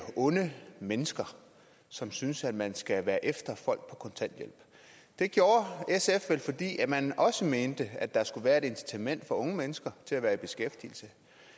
onde mennesker som synes man skal være efter folk på kontanthjælp det gjorde sf vel fordi man også mente at der skulle være et incitament for unge mennesker til at være i beskæftigelse